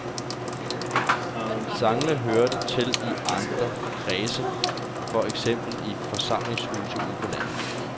Sangene hørte til i andre kredse, for eksempel i forsamlingshusene ude på landet.